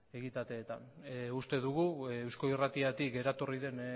egitateetan uste dugu eusko irratitik eratorri den